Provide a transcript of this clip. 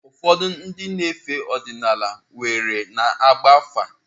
Ụfọdụ ndị na-efe ọdịnala kweere na ịgba afa.